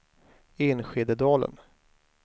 Enskededalen